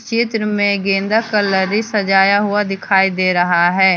चित्र में गेंदा का लरी सजाया हुआ दिखाई दे रहा है।